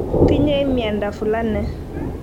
tinyei miando fulani."